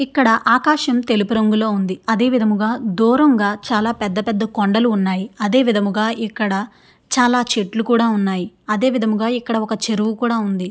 ఇక్కడ ఆకాశం తెలుపు రంగులో ఉంది. అదే విధముగా దూరంగా చాలా చాలా పెద్ధ కొండలు ఉన్నాయి. అదే విధముగా ఇక్కడ చాలా చెట్లు కూడా ఉన్నాయి. అదే విధముగా ఇక్కడ ఒక చెరువు కూడా ఉంది.